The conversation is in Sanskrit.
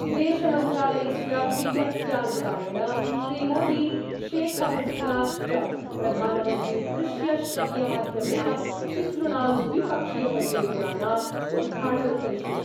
विदेशमंत्रालयस्य विज्ञप्त्यानुसारेण श्रीमोदी शेखहसीनाश्च प्रधानमन्त्रीदृश्यश्रव्यमाध्यमेन तिसृणां द्विपक्षीयपरियोजनानां उद्घाटनं करिष्यति।